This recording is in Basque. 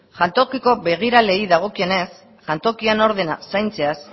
jantokiko begiraleei dagokienez jantokian ordena zaintzeaz